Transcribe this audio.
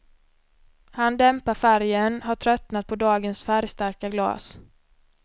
Han dämpar färgen, har tröttat på dagens färgstarka glas.